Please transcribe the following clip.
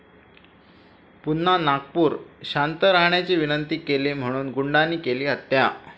पुन्हा नागपूर!, शांत राहण्याची विनंती केली म्हणून गुंडांनी केली हत्या